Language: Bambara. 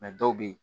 dɔw bɛ yen